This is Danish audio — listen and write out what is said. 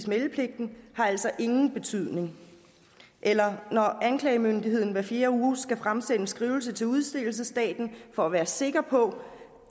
meldepligten har altså ingen betydning eller når anklagemyndigheden hver fjerde uge skal fremsende en skrivelse til udstedelsesstaten for at være sikker på